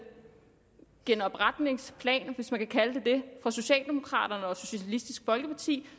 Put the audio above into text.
genopretningsplan hvis man kan kalde den det fra socialdemokraterne og socialistisk folkeparti